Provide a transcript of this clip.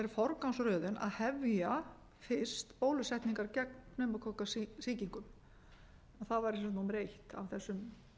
forgangsröðun að hefja fyrst bólusetningar gegn pneumókokkasýkingum það væri sem sagt númer eitt af þessum